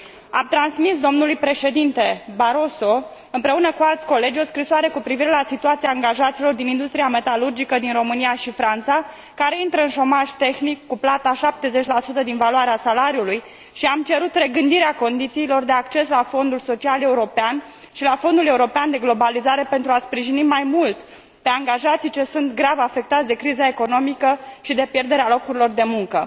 Am transmis dlui Președinte Barroso, împreună cu alți colegi, o scrisoare cu privire la situația angajaților din industria metalurgică din România și Franța, care intră în șomaj tehnic cu plata a 70 din valoarea salariului, și am cerut regândirea condițiilor de acces la Fondul Social European și la Fondul European pentru Adaptare la Globalizare, pentru a i sprijini mai mult pe angajații ce sunt grav afectați de criza economică și de pierderea locurilor de muncă.